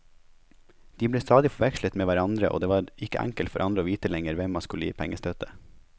De ble stadig forvekslet med hverandre, og det var ikke enkelt for andre å vite lenger hvem man skulle gi pengestøtte.